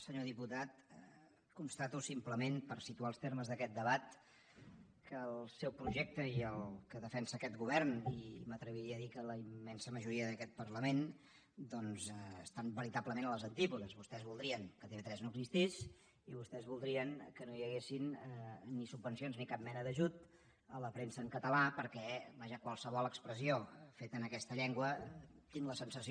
senyor diputat constato simplement per situar els termes d’aquest debat que el seu projecte i el que defensa aquest govern i m’atreviria a dir que la immensa majoria d’aquest parlament doncs estan veritablement a les antípodes vostès voldrien que tv3 no existís i vostès voldrien que no hi haguessin ni subvencions ni cap mena d’ajut a la premsa en català perquè vaja qualsevol expressió feta en aquesta llengua tinc la sensació